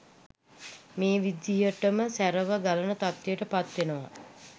මේ විදිහටම සැරව ගලන තත්වයට පත්වෙනවා